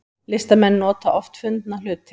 Listamenn nota oft fundna hluti